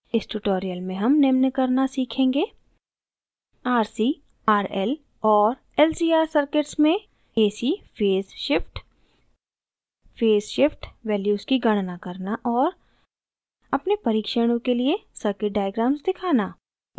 इस tutorial में हम निम्न करना सीखेंगे: